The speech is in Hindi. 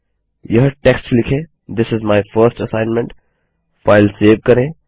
यह टेक्स्ट लिखें this is my first assignment file save करें